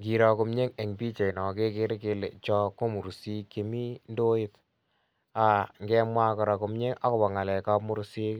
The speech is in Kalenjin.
Ngiroo komyei en pichait noon kegere kele chaan ko mursik chemuu ndoit kemwaah kora komyei agobo ngalek ab mursik